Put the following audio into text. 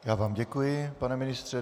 Já vám děkuji, pane ministře.